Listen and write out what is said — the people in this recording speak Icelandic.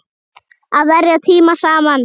Að verja tíma saman.